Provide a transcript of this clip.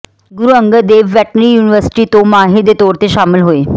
ਗੁਰੂ Angad Dev veterinary university ਤੋਂ ਮਾਹਿਰ ਦੇ ਤੌਰ ਤੇ ਸ਼ਾਮਲ ਹੋਏ ਡਾ